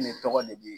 Ne tɔgɔ de bi